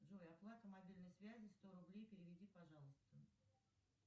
джой оплата мобильной связи сто рублей переведи пожалуйста